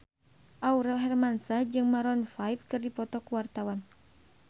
Aurel Hermansyah jeung Maroon 5 keur dipoto ku wartawan